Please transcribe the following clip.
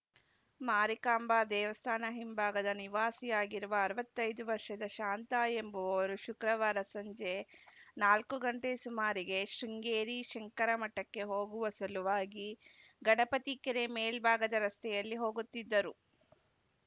ಮಾರಿಕಾಂಬಾ ದೇವಸ್ಥಾನ ಹಿಂಭಾಗದ ನಿವಾಸಿಯಾಗಿರುವ ಅರವತ್ತ್ ಐದು ವರ್ಷದ ಶಾಂತ ಎಂಬುವವರು ಶುಕ್ರವಾರ ಸಂಜೆ ನಾಲ್ಕು ಗಂಟೆ ಸುಮಾರಿಗೆ ಶೃಂಗೇರಿ ಶಂಕರಮಠಕ್ಕೆ ಹೋಗುವ ಸಲುವಾಗಿ ಗಣಪತಿ ಕೆರೆ ಮೇಲ್ಭಾಗದ ರಸ್ತೆಯಲ್ಲಿ ಹೋಗುತ್ತಿದ್ದರು